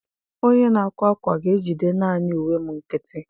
Onye na-akwa akwa ga-ejide naanị uwe m nkịtị.